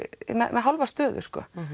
með hálfa stöðu